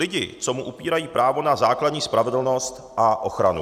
Lidi, co mu upírají právo na základní spravedlnost a ochranu.